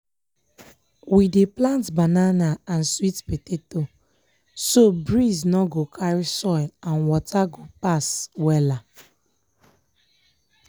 we dey plant banana and sweet potato so breeze nor go carry soil and water go pass wella.